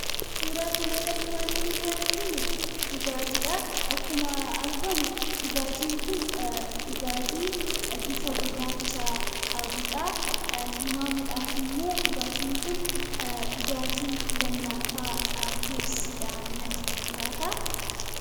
Suuraa kanarratti waanti nuti arginu dhugaatiidha. Akkuma argamu dhugaatiin kun dhugaatii bifa gurraacha qabudha. Tilmaamuudhaaf immoo dhugaatiin kun dhugaatii lallaafaa peepsiidha natti fakkaata.